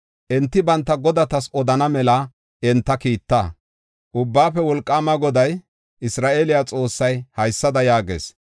Enti banta godatas odana mela enta kiitta. Ubbaafe Wolqaama Goday, Isra7eele Xoossay haysada yaagees: